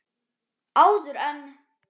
Áður en.